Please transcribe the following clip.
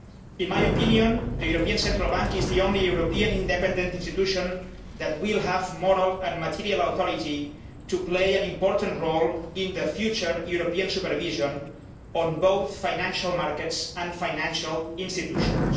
In my opinion, the European Central Bank is the only European independent institution that will have the moral and material authority to play an important role in future European supervision of both financial markets and financial institutions.